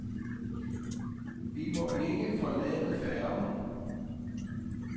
Vi må ikke forlade færgen.